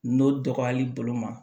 N'o dɔgɔyali bolo ma